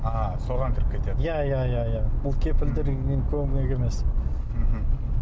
а соған кіріп кетеді иә иә иә бұл көмек емес мхм